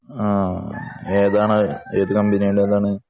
ആഹ് ഏതാണ് ഏത് കമ്പനിയുടേതാണ്?